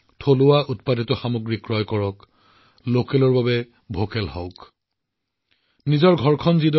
স্থানীয় লোকেৰ উৎপাদিত সামগ্ৰী কিনিব ভোকেল ফৰ লোকেলক গুৰুত্ব দিয়ক